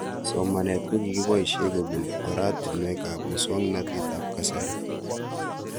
Somanet ko kipoishe kopun oratinwek ab muswog'natet ab kasari